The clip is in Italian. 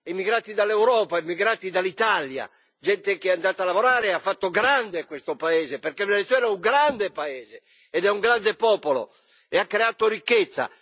emigrati dall'Europa, emigrati dall'Italia, gente che è andata a lavorare e ha fatto grande questo paese, perché il Venezuela è un grande paese e ha un grande popolo che ha creato ricchezza.